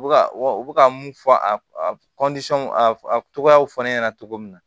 U bɛ ka u bɛ ka mun fɔ a a togoyaw fɔ ne ɲɛna cogo min na